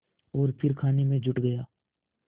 और फिर खाने में जुट गया